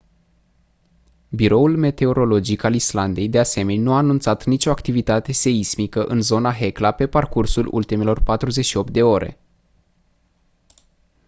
biroul meteorologic al islandei de asemeni nu a anunțat nicio activitate seismică în zona hekla pe parcursul ultimelor 48 de ore